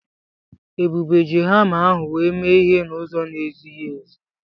Ebube ji hama ahụ wee mee ihe n'ụzọ na-ezighi ezi.